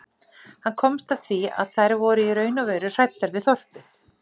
Hann komst að því að þær voru í raun og veru hræddar við þorpið.